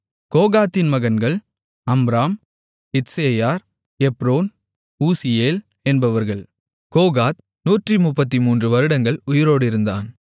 கோகாத்தின் மகன்கள் Amram Izhar Hebron Uzziel என்பவர்கள் Kohath நூற்றுமுப்பத்துமூன்று வருடங்கள் உயிரோடு இருந்தான்